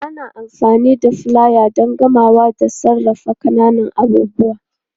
Ana amfani da filaye don kamawa da sarrafa ƙananan abubuwa